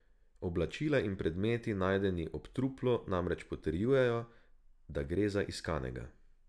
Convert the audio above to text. Oblačila in predmeti najdeni ob truplu namreč potrjujejo, da gre za iskanega.